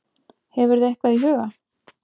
Hefurðu eitthvað í huga?